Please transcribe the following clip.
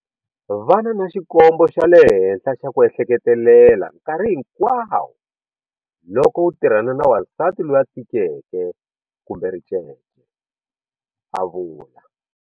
Vana na xikombo xa le henhla xa ku ehleketelela nkarhi hinkwawo loko u tirhana na wansati loyi a tikeke kumbe ricece, a vula.